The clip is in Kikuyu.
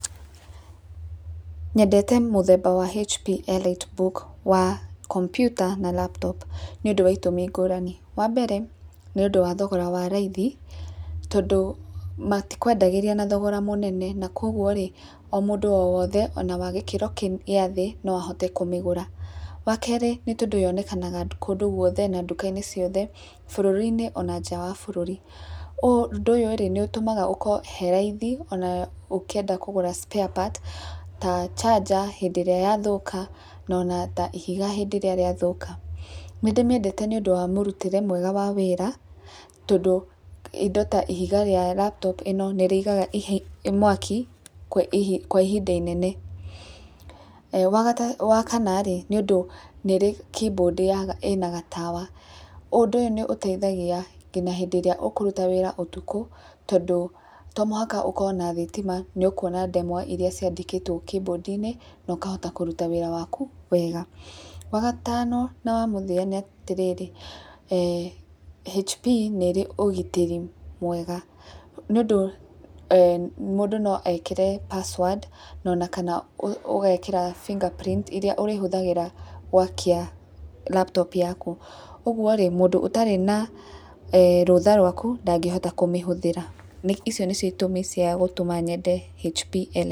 Nyendete mũthemba wa hp EliteBook mũthemba wa komputa na laptop nĩ ũndũ wa itũmi ngũrani, wa mbere nĩ ũndũ wa thogora wa raithi tondũ matikwendagĩria na thogora mũnene na kwoguo rĩ o mũndũ o wothe ona wagĩkĩro gĩa thĩ no ahote kũmĩgũra, wa kerĩ nĩ tondũ yonekanaga kũndũ gwothe na duka-inĩ ciothe bũrũri-inĩ ona nja wa bũrũri ũndũ ũyũ nĩ ũtũmaga hakorwo he raithi ona ũkwenda kũgũra spare parts ta charger hĩndĩ ĩrĩa ya thũka no na ta ihiga rĩrĩa rĩa thũka. Nĩ ndĩmĩendete nĩ ũndũ wa mũrutĩre wayo wa wĩra tondũ indo ta ihiga rĩa laptop ĩno nĩ rĩigaga mwaki kwa ihinda inene. Wa kana rĩ nĩ ũndũ nĩ rĩ keyboard ĩna gatawa ũndũ nĩ ũteithagia nginya hĩndĩ ĩrĩa ũkũruta wĩra ũtukũ tondũ, tomũhaka ũkorwo na thitima nĩ ũkũhota kwona ndemwa iria ciĩ keyboard inĩ na ũkahota kũruta wĩra waku wega. Wagatano na wamũthia nĩ atĩrĩrĩ eeh hp nĩ rĩ ũgitĩri mwega nĩ ũndũ mũndũ no ekĩre password kana ũgekĩra finger prints iria ũrĩhũthagĩra gwakia laptop yaku, ũguo rĩ mũndũ ũtarĩ na rũtha rwaku ndangĩhota kũmĩhũthĩra, icio nĩ cio utũmi ciakwa cia kwenda hp EliteBook.